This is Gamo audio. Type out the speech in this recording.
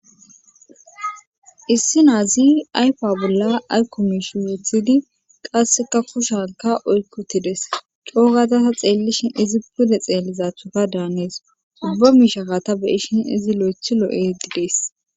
issi nazi ayfa bolla ayko mish weethidi qasseka kushanka oykkotides coogatasa xeellishin izi pude xeelizathuka daanees ubba mishakata beyishin izi lo7ethi lo7ehedidees